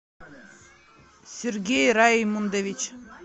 сергей раймондович